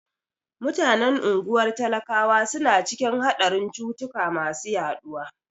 Mutanen unguwar talakawa suna cikin haɗarin cutuka masu yaɗuwa.